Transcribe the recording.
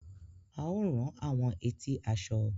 A o rán àwọn etí aṣọ.